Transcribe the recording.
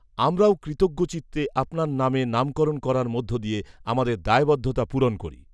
আমরাও কৃতজ্ঞচিত্তে আপনার নামে নামকরণ করার মধ্য দিয়ে আমাদের দায়বদ্ধতা পূরণ করি